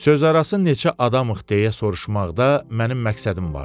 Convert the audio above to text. Sözarası neçə adamıq deyə soruşmaqda mənim məqsədim vardı.